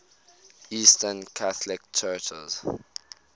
eastern catholic churches